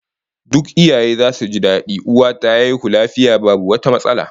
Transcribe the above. Duk iyaye zasu ji dadi uwa ta haihu lafiya babu wata matsala